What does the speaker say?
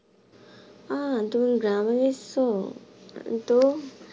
আহ তুমি গ্রামে গিয়েছো?